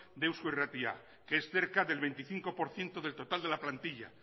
de eusko irratia que es cerca del veinticinco por ciento del total de la plantilla